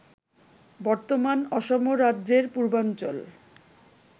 বর্তমান অসম রাজ্যের পূর্বাঞ্চল